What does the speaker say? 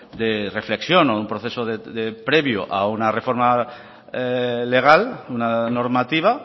de reflexión o un proceso previo a una reforma legal una normativa